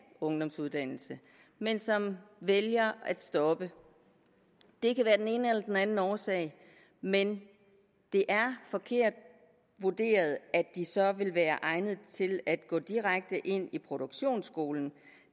ungdomsuddannelse men som vælger at stoppe det kan være af den ene eller den anden årsag men det er forkert vurderet at de så vil være egnet til at gå direkte ind i produktionsskolen